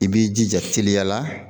I b'i jija teliya la